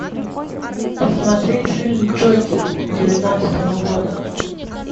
смотреть фильм джокер девятнадцатого года